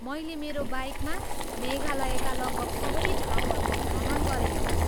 मैले मेरो बाइकमा मेघालयका लगभग सबै ठाउँहरूको भ्रमण गरेको छु।